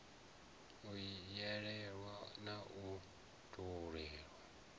u yelanaho na u tholiwa